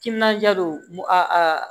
Timinandiya don a